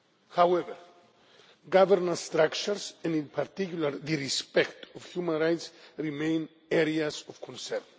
However, governance structures, and in particular respect for human rights, remain areas of concern.